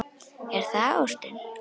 Er það ástin?